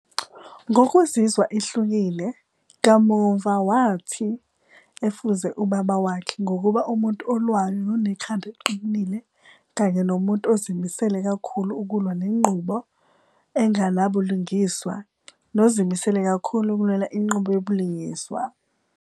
Ngokuzizwa ehlukile, kamuva wathi ufuze ubaba wakhe ngokuba umuntu olwayo nonekhanda eliqinile kanye nomuntu ozimisele kakhulu ukulwa nenqubo enganabulungiswa nozimisele kakhulu ukulwela inqubo yobulungiswa